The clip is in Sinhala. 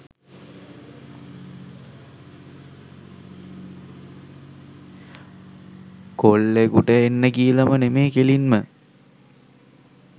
කොල්ලෙකුට එන්න කියලම නෙමේ කෙලින්ම